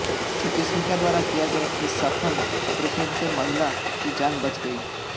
चिकित्सिका द्वारा किए गए इस सफल ऑपरेशन से महिला की जान बच गई